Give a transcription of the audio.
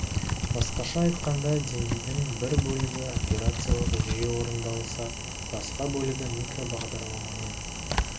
басқаша айтқанда деңгейдің бір бөлігі операциялық жүйе орындалса басқа бөлігі микробағдарламамен